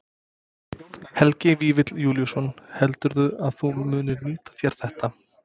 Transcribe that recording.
Helgi Vífill Júlíusson: Heldurðu að þú munir nýta þér þetta?